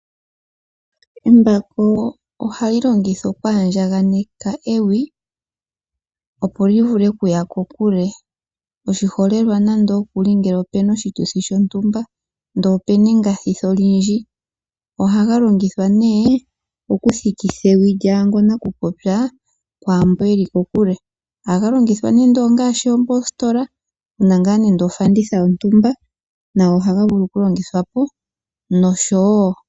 Embako ohali longithwa okwandjaganeka ewi opo li vule okuya kokule, oshiholelwa ngele ope na oshituthi shontumba ndele ope na engathithi lyaantu. Ohaga longithwa okuthikitha ewi lyanakupopya kwaamboka ye li kokule. Ohaga longithwa wo ngashi moositola noshowo.